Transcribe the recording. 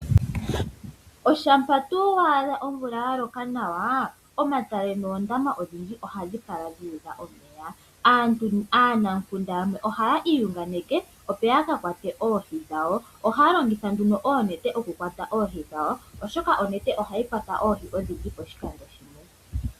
Ngele waadha omvula yaloka nawa, omatale noondama odhindji ohadhi kala dhuudha omeya. Aanamukunda yamwe ohaya iyunganeke opo yaka kwate oohi dhawo. Ohaya longitha nduno oonete okukwata oohi dhawo, oshoka onete ohayi kwata oohi odhindji poshikando shimwe.